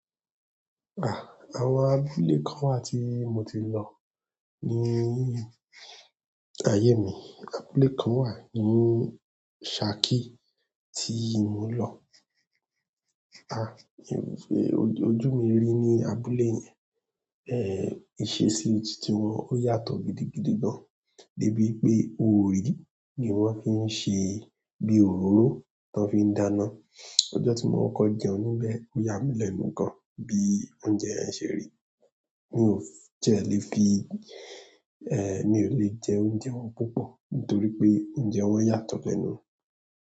Ah! Àwọn abúlé kan wà tí mo ti lọ ní ayé mi, abúlé kan wà ní Ṣákí tí mo lọ. Ah! Ojú mi rí ní abúlé yẹn, ẹ́ ìṣesí tiwọn ó yàtọ̀ gidi gidigan. Débi pé orí ni wọn fi ń ṣe bí òróró tó fi ń dáná. Ọjọ́ tí mo kọ kọ jẹun níbẹ̀ ó yá mí lẹ́nu gan bí oúnjẹ ẹ ṣe rí. Mi ò tiẹ̀ lé fi, ẹ́ mi ò lè jẹ oúnjẹ wọn púpọ̀ nítorí pé oúnjẹ wọn yàtọ̀ lẹ́nu.